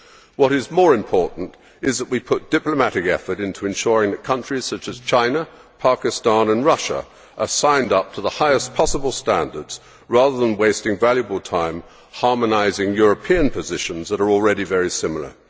What is more important is that we put diplomatic effort into ensuring that countries such as China, Pakistan and Russia are signed up to the highest possible standards, rather than wasting valuable time harmonising European positions that are already very similar.